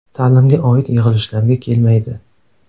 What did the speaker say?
Ta’limga oid yig‘ilishlarga kelmaydi.